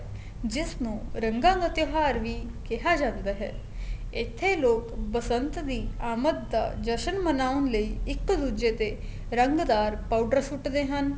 ਜਿਸ ਨੂੰ ਰੰਗਾ ਦਾ ਤਿਉਹਾਰ ਵੀ ਕਿਹਾ ਜਾਂਦਾ ਹੈ ਇੱਥੇ ਲੋਕ ਬਸੰਤ ਦੀ ਆਮਦ ਦਾ ਜਸ਼ਨ ਮਨਾਉਣ ਲਈ ਇੱਕ ਦੂਜੇ ਤੇ ਰੰਗ ਦਾਰ powder ਸੁੱਟਦੇ ਹਨ